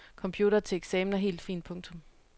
Computere til eksamen er helt fint. punktum